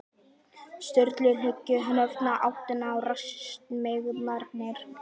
Sturlu og hnykkti höfðinu í áttina að rassi dansmeyjarinnar.